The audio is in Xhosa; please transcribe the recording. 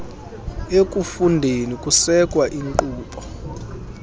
ekufundeni kusekwa iinkqubo